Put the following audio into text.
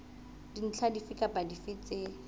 dintlha dife kapa dife tse